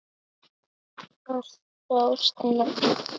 Alltof snemma.